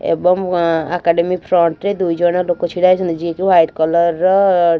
ଏବଂ ଆଁ academy front ରେ ଦୁଇ ଜଣ ଲୋକ ଛିଡାହେଇଛନ୍ତି ଯିଏ କି ହ୍ବାଇଟ କଲର ର --